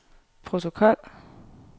protokol